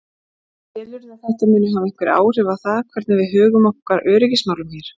Telurðu að þetta muni hafa einhver áhrif á það hvernig við högum okkar öryggismálum hér?